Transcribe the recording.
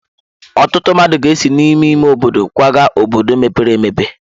Ọtụtụ mmadụ ga-esi n'ime ime obodo kwaga obodo mepere emepe.